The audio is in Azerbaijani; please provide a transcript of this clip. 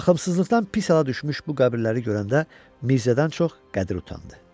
Baxımsızlıqdan pis hala düşmüş bu qəbirləri görəndə Mirzədən çox Qədir utandı.